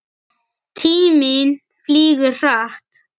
Tíminn flýgur hratt.